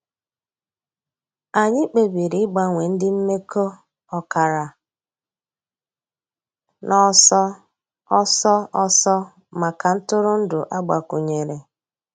Ànyị̀ kpèbìrì ị̀gbanwe ńdí m̀mekọ̀ ọ̀kàrà n'ọ̀sọ̀ òsọ̀ òsọ̀ mǎká ntụrụ̀ndụ̀ àgbàkwùnyèrè.